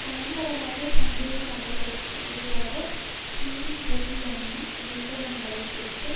பயங்கரவாத சந்தேக நபர்களுக்கு எதிராக சரீரரீதியான நிர்ப்பந்தங்களைக் கொடுத்து